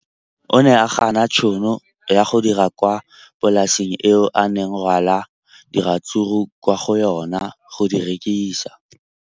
O ne a gana tšhono ya go dira kwa polaseng eo a neng rwala diratsuru kwa go yona go di rekisa.